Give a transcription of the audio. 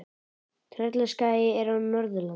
Tröllaskagi er á Norðurlandi.